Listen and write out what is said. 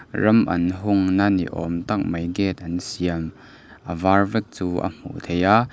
ram an hungna ni awm tak mai gate an siam a var vek chu a hmuh theih a.